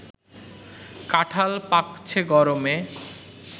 কাঁঠাল পাকছে গরমে